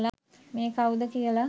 මේ කවුද කියලා.